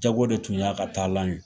Jago de tun y'a ka taalan ye.